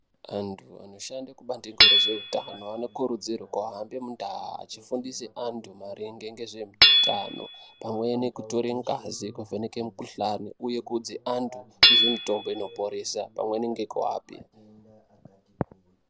Antu anoshanda kubandiko rezvehutano vanokurudzirwa kuhambe mundaa achifundisa antu maringe nezvehutano pamweni kutora ngazi kuvheneka mikuhlani uye kuudza antu nezvemitombo inoporesa pamweni nekuvape.